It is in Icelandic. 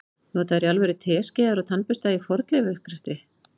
Nota þeir í alvöru teskeiðar og tannbursta í fornleifauppgreftri?